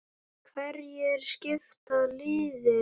Hverjir skipa liðið?